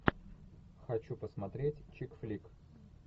хочу посмотреть чик флик